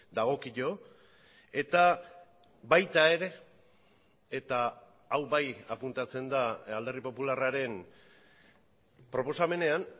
dagokio eta baita ere eta hau bai apuntatzen da alderdi popularraren proposamenean